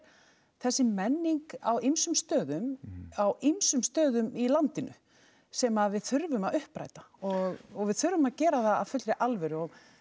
þessi menning á ýmsum stöðum á ýmsum stöðum í landinu sem að við þurfum að uppræta og og við þurfum að gera það af fullri alvöru